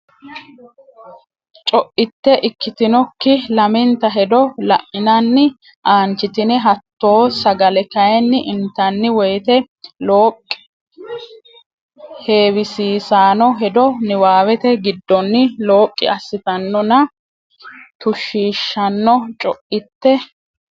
Co itte ikkitinokki lamenta hedo la inanni aanchitine hattoo sagale kayinni intanni woyte looqqi heewisiissanno hedo niwaawete giddonni looqqi assitannonna tushshiishshanno Co itte.